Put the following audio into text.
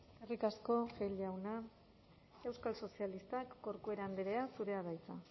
eskerrik asko gil jauna euskal sozialistak corcuera andrea zurea da hitza